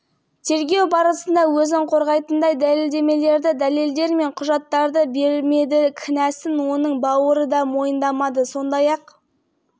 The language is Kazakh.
құрылыс компаниясының қызметкерлерінің бірін мойындамады спикер атап өткендей бишімбаевпен бірлесіп бәйтерек девелопмент компаниясының лауазымды тұлғасы